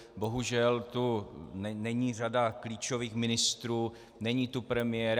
Bohužel tu není řada klíčových ministrů, není tu premiér.